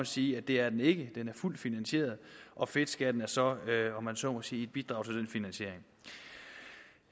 sige at det er den ikke den er fuldt finansieret og fedtskatten er så om man så må sige et bidrag til den finansiering